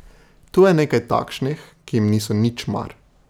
Tu je nekaj takšnih, ki jim niso nič mar.